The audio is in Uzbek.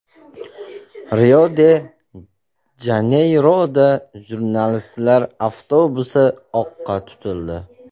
Rio-de-Janeyroda jurnalistlar avtobusi o‘qqa tutildi.